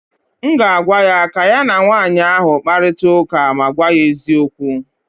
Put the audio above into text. m ga-agwa ya ka ya na nwanyị ahụ kparịta ụka ma gwa ya eziokwu